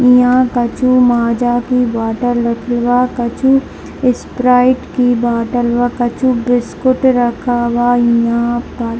यहाँ कछू माज़ा की बोतल रखल बा कछू इसप्राइट की बोतल बा कछू बिस्कुट रखल बा यहाँ पर |